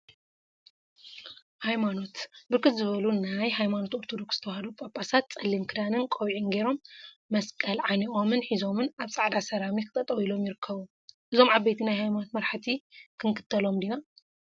ሃይማኖት ብርክት ዝበሉ ናይ ሃይማኖት ኦርቶዶክስ ተዋህዶ ጳጳሳት ፀሊም ክዳንን ቆቢዕን ገይሮም መስቀል ዓኒቆምን ሒዞምን አብ ፃዕዳ ሰራሚክ ጠጠወ ኢሎምይርከቡ፡፡ እዞም ዓበይቲ ናይ ሃይማኖት መራሕቲ ክንክተሎም ዲና?